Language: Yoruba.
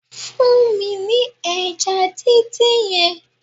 Fún mi ní ẹja díndín yẹn